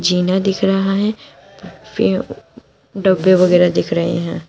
जीना दिख रहा है पे डब्बे वगैरह दिख रहे हैं।